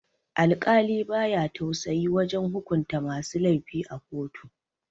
Alkali baya tausayi wajan hukunta masu laifi a kotu